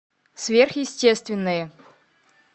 сверхъестественное